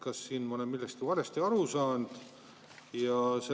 Kas ma olen millestki valesti aru saanud?